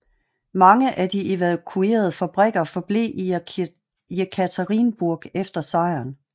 Mange af de evakuerede fabrikker forblev i i Jekaterinburg efter sejren